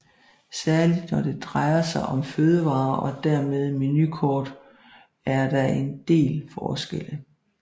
Særlig når det drejer sig om fødevarer og dermed menukort er der en del forskelle